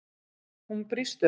Hún brýst um.